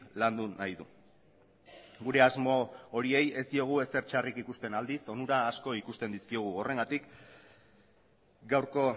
landu nahi du gure asmo horiei ez diogu ezer txarrik ikusten aldiz onura asko ikusten dizkiogu horregatik gaurko